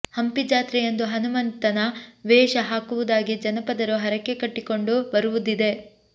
ಹಂಪಿ ಜಾತ್ರೆಯಂದು ಹನುಮಂತನ ವೇಷ ಹಾಕುವುದಾಗಿ ಜನಪದರು ಹರಕೆ ಕಟ್ಟಿಕೊಂಡು ಬರುವುದಿದೆ